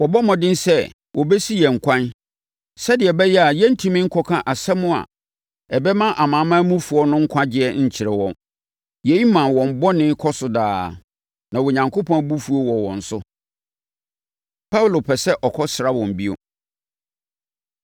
Wɔbɔ mmɔden sɛ wɔbɛsi yɛn kwan sɛdeɛ ɛbɛyɛ a yɛrentumi nkɔka asɛm a ɛbɛma amanamanmufoɔ no nkwagyeɛ nkyerɛ wɔn. Yei ma wɔn bɔne kɔɔ so daa. Na Onyankopɔn abufuo wɔ wɔn so. Paulo Pɛ Sɛ Ɔkɔsra Wɔn Bio